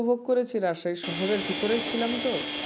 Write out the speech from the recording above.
উপভোগ করেছি রাজশাহী শহরের ভিতরে ছিলাম তো